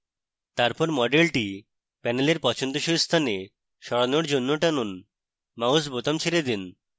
তারপর মডেলটি panel পছন্দসই স্থানে সরানোর জন্য টানুন মাউস বোতামে ছেড়ে then